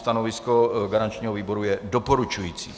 Stanovisko garančního výboru je doporučující.